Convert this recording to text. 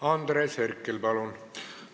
Andres Herkel, palun!